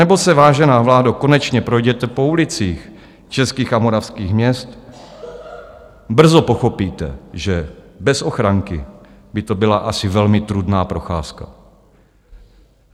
Anebo se, vážená vládo, konečně projděte po ulicích českých a moravských měst, brzo pochopíte, že bez ochranky by to byla asi velmi trudná procházka.